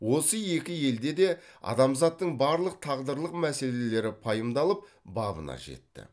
осы екі елде де адамзаттың барлық тағдырлық мәселелері пайымдалып бабына жетті